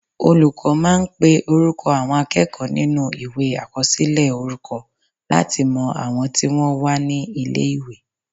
Olùkọ́ máa ń pe orúkọ àwọn akẹ́kọ̀ọ́ nínú Ìwé àkọsílẹ̀ orúkọ láti mọ àwọn tí wọ́n wà ní ilé-ìwé